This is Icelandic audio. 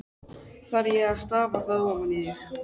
Þarf ég þá að stafa það ofan í þig?